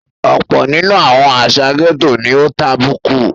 Ọ̀pọ̀ nínú àwọn àsà gẹ́tò ni ó tàbùkù.